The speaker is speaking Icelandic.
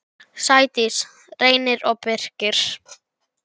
Sædís, Reynir og Birkir.